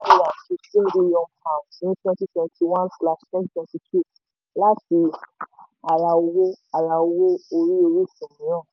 ní twenty twenty one slash twenty twenty two láti ara owó ara owó orí orísun mìíràn.